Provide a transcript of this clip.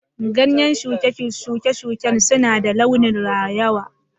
Ganyen shuke-shuken suna da launin rawaya.